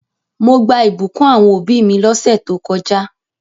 Mo gbà ìbùkún àwon òbí mi lósẹ̀ to kojá